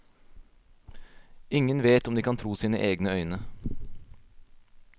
Ingen vet om de kan tro sine egne øyne.